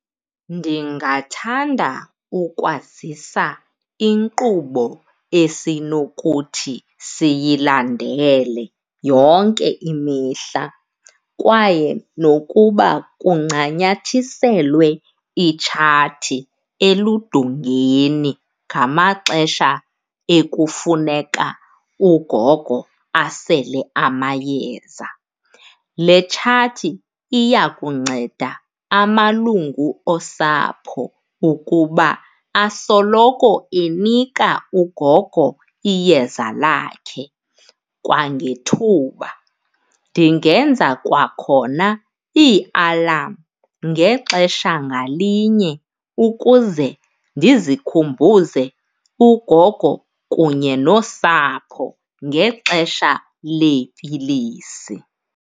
Ndingathanda ukwazisa inkqubo esinokuthi siyilandele yonke imihla kwaye nokuba kuncanyathiselwe itshati eludongweni ngamaxesha ekufuneka ugogo asele amayeza. Le tshati iya kunceda amalungu osapho ukuba asoloko enika ugogo iyeza lakhe kwangethuba. Ndingenza kwakhona iialam ngexesha ngalinye ukuze ndizikhumbuze ugogo kunye nosapho ngexesha leepilisi.